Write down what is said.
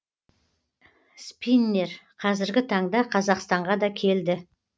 спиннер қазіргі таңда қазақстанға да келді